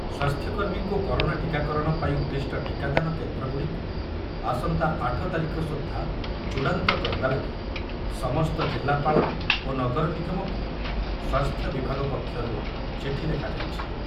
ସ୍ୱାସ୍ଥ୍ୟକର୍ମୀଙ୍କୁ corona ଟୀକାକରଣ ପାଇଁ ଉଦ୍ଦିଷ୍ଟ ଟିକାଦାନ କେନ୍ଦ୍ରଗୁଡ଼ିକୁ ଆସନ୍ତା ଆଠ ତାରିଖ ସୁଦ୍ଧା ଚୂଡ଼ାନ୍ତ କରିବା ଲାଗି ସମସ୍ତ ଜିଲ୍ଲାପାଳ ଓ ନଗର ନିଗମକୁ ସ୍ୱାସ୍ଥ୍ୟ ବିଭାଗ ପକ୍ଷରୁ ଚିଠି ଲେଖାଯାଇଛି ।